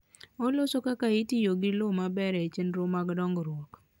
Oloso kaka itiyo gi lowo maber e chenro mag dongruok.